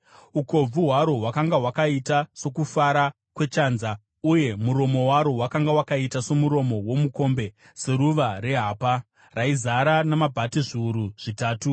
Ukobvu hwaro hwakanga hwakaita sokufara kwechanza uye muromo waro wakanga wakaita somuromo womukombe, seruva rehapa. Raizara namabhati zviuru zvitatu .